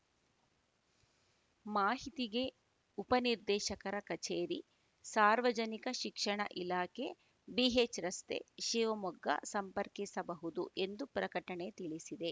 ಮಾಹಿತಿಗೆ ಉಪನಿರ್ದೇಶಕರ ಕಚೇರಿ ಸಾರ್ವಜನಿಕ ಶಿಕ್ಷಣ ಇಲಾಖೆ ಬಿಎಚ್‌ರಸ್ತೆ ಶಿವಮೊಗ್ಗ ಸಂಪರ್ಕಿಸಬಹುದು ಎಂದು ಪ್ರಕಟಣೆ ತಿಳಿಸಿದೆ